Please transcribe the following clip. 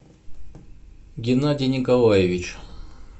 геннадий николаевич